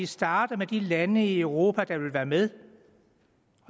starte med de lande i europa der vil være med